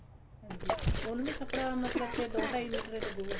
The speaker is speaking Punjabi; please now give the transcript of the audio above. ਹਾਂਜੀ ਉਹਨੂੰ ਵੀ ਕੱਪੜਾ ਮਤਲਬ ਕੇ ਦੋ ਢਾਈ ਮੀਟਰ ਏ ਲੱਗੂਗਾ